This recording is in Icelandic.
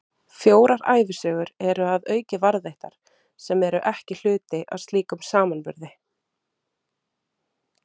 Fjórar ævisögur eru að auki varðveittar, sem eru ekki hluti af slíkum samanburði.